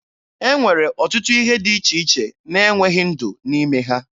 E nwere ọtụtụ ihe dị iche iche na-enweghị ndụ n'ime ha.